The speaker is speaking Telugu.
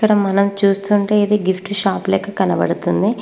ఇక్కడ మనం చూస్తుంటే ఇది గిఫ్ట్ షాప్ లెక్క కనబడుతుంది.